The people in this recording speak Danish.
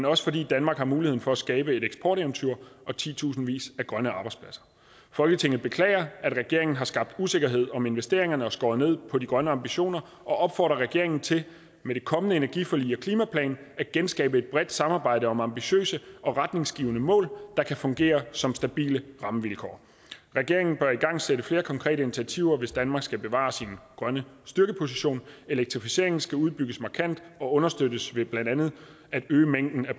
også fordi danmark har muligheden for at skabe et eksporteventyr og titusindvis af grønne arbejdspladser folketinget beklager at regeringen har skabt usikkerhed om investeringer og skåret ned på de grønne ambitioner og opfordrer regeringen til med det kommende energiforlig og klimaplan at genskabe et bredt samarbejde om ambitiøse og retningsgivende mål der kan fungere som stabile rammevilkår regeringen bør igangsætte flere konkrete initiativer hvis danmark skal bevare sin grønne styrkeposition elektrificeringen skal udbygges markant og understøttes ved blandt andet at øge mængden af